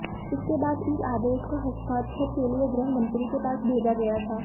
इसके बाद इस आदेश को हस्ताक्षर के लिए गृह मंत्री के पास भेजा गया था